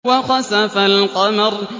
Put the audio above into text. وَخَسَفَ الْقَمَرُ